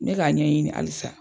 N bɛ k'a ɲɛɲini halisa.